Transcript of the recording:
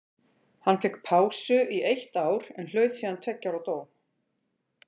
Hann fékk pásu í eitt ár en hlaut síðan tveggja ára dóm.